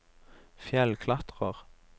fjellklatrer